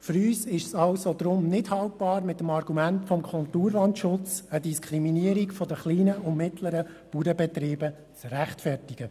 Für uns ist es deshalb nicht haltbar, mit dem Argument des Kulturlandschutzes eine Diskriminierung der kleinen und mittleren Bauernbetriebe zu rechtfertigen.